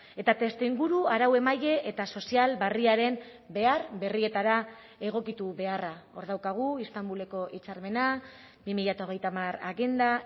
eta testuinguru arauemaile eta sozial berriaren behar berrietara egokitu beharra hor daukagu istanbuleko hitzarmena bi mila hogeita hamar agenda